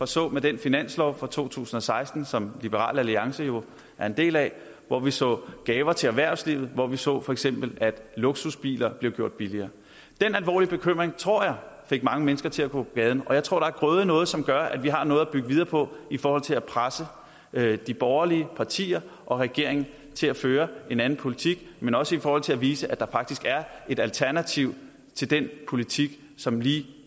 så med den finanslov for to tusind og seksten som liberal alliance jo er en del af hvor vi så gaver til erhvervslivet og hvor vi så at for eksempel luksusbiler blev gjort billigere den alvorlige bekymring tror jeg fik mange mennesker til at gå på gaden og jeg tror at der er grøde i noget som gør at vi har noget at bygge videre på i forhold til at presse de borgerlige partier og regeringen til at føre en anden politik men også i forhold til at vise at der faktisk er et alternativ til den politik som lige